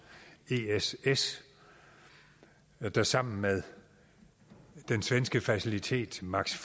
ess ess der sammen med den svenske facilitet max